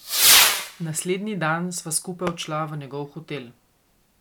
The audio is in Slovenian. Naslednji dan sva skupaj odšla v njegov hotel.